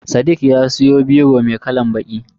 Sadiq ya siyo biro mai kalan baƙi.